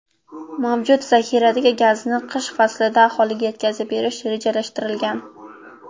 Mavjud zaxiradagi gazni qish faslida aholiga yetkazib berish rejalashtirilgan.